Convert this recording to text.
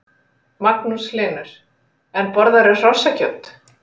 Magnús Hlynur: En borðarðu hrossakjöt?